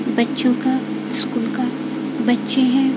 बच्चों का स्कूल का बच्चे हैं।